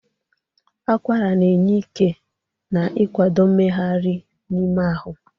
Akwara na-enye ike na ikwado mmegharị n'ime ahụ.